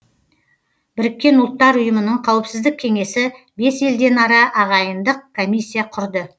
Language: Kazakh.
біріккен ұлттар ұйымының қауіпсіздік кеңесі бес елден ара ағайындық комиссия құрды